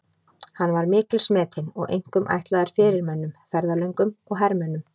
Hann var mikils metinn og einkum ætlaður fyrirmönnum, ferðalöngum og hermönnum.